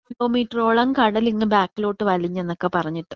കിലോമീറ്ററോളം കടൽ ഇങ്ങ് ബാക്കിലോട്ട് വലിഞ്ഞുനൊക്കെ പറഞ്ഞിട്ട്.